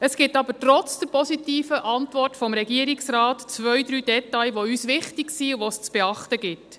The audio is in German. Es gibt aber trotz der positiven Antwort des Regierungsrates zwei, drei Details, die uns wichtig sind und die es zu beachten gibt.